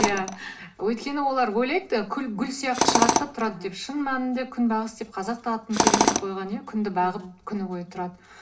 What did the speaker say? ия өйткені олар ойлайды гүл сияқты шығады да тұрады деп шын мәнінде күнбағыс деп қазақ та атын керемет қойған иә күнді бағып күні бойы тұрады